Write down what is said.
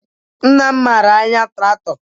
Nna m mara anya traktọ